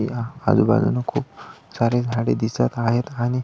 या आजूबाजून खूप सारी झाडी दिसत आहे आणि--